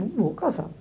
Não vou casar.